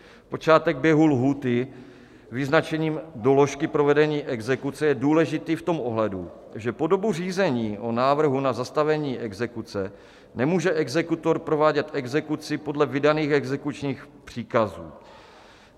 Počátek běhu lhůty vyznačením doložky provedení exekuce je důležitý v tom ohledu, že po dobu řízení o návrhu na zastavení exekuce nemůže exekutor provádět exekuci podle vydaných exekučních příkazů.